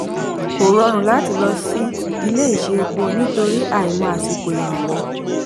kò rọrùn lọ sí ilé-ìṣé epo nítorí àìmọ̀ àsìkò ìrànwọ́.